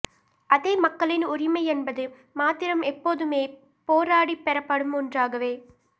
அதே மக்களின் உரிமை என்பது மாத்திரம் எப்போதுமே போராடிப் பெறப்படும் ஒன்றாகவே